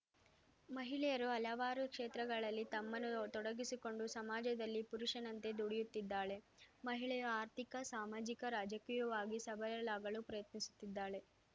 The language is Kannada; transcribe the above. ಮಹಿಳೆಯರು ಹಲವಾರು ಕ್ಷೇತ್ರಗಳಲ್ಲಿ ತಮ್ಮನ್ನು ತೊಡಗಿಸಿಕೊಂಡು ಸಮಾಜದಲ್ಲಿ ಪುರುಷನಂತೆ ದುಡಿಯುತ್ತಿದ್ದಾಳೆ ಮಹಿಳೆಯು ಆರ್ಥಿಕ ಸಾಮಾಜಿಕ ರಾಜಕೀಯವಾಗಿಯೂ ಸಬಲಳಾಗಲು ಪ್ರಯತ್ನಿಸುತ್ತಿದ್ದಾಳೆ